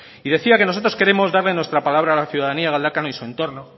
y decía que nosotros queremos darle nuestra palabra a la ciudadanía de galdakao y su entorno